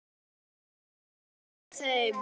Hann hélt á pennaveskinu í hendinni og áður en